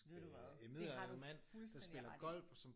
Ved du hvad det har du fuldstændig ret i